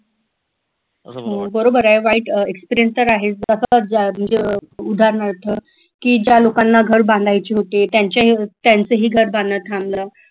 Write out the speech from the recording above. बरोबर आहे वाईट experience तर आहेच उदाहरणार्थ की ज्या लोकांना घर बांधायचे होते त्यांच्या त्यांचं ही घर बांधनं थांबलं